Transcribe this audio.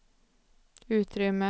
utrymme